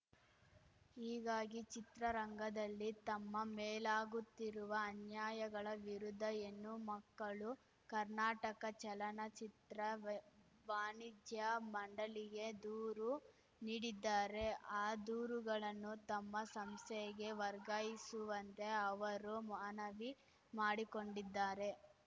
ಹೀಗಾಗಿ ಚಿತ್ರರಂಗದಲ್ಲಿ ತಮ್ಮ ಮೇಲಾಗುತ್ತಿರುವ ಅನ್ಯಾಯಗಳ ವಿರುದ್ಧ ಹೆಣ್ಣು ಮಕ್ಕಳು ಕರ್ನಾಟಕ ಚಲನಚಿತ್ರ ವೆ ವಾಣಿಜ್ಯ ಮಂಡಳಿಗೆ ದೂರು ನೀಡಿದ್ದಾರೆ ಆ ದೂರುಗಳನ್ನು ತಮ್ಮ ಸಂಸ್ಥೆಗೆ ವರ್ಗಾಯಿಸುವಂತೆ ಅವರು ಮನವಿ ಮಾಡಿಕೊಂಡಿದ್ದಾರೆ